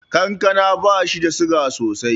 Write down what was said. Kankana bashi da suga sosai.